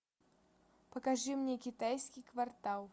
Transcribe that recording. покажи мне китайский квартал